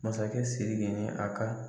Masakɛ sSiriki ni a ka